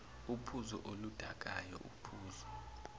uphuzo oludakayo uphuzo